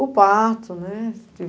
O parto, né?